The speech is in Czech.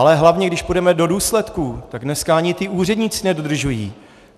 Ale hlavně když půjdeme do důsledků, tak dnes ani ti úředníci nedodržují.